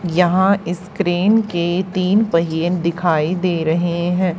यहां इस क्रेन के तीन पहिए दिखाई दे रहे हैं।